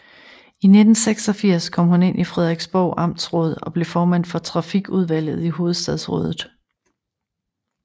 I 1986 kom hun ind i Frederiksborg Amtsråd og blev formand for Trafikudvalget i Hovedstadsrådet